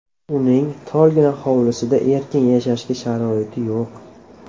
Uning torgina hovlisida erkin yashashga sharoit yo‘q.